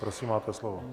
Prosím, máte slovo.